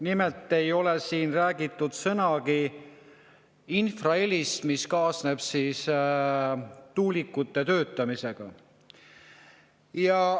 Nimelt ei ole siin räägitud sõnagi infrahelist, mis kaasneb tuulikute töötamisega.